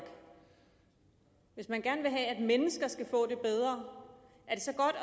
hvis man gerne vil have at mennesker skal få det bedre